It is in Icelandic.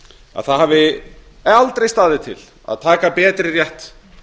að það hafi aldrei staðið til að taka betri rétt